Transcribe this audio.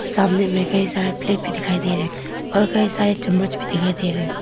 सामने में कई सारे प्लेट भी दिखाई दे रहे हैं और कई सारे चम्मच भी दिखाई दे रहे हैं।